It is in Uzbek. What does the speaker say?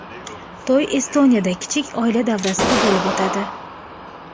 To‘y Estoniyada kichik oila davrasida bo‘lib o‘tadi.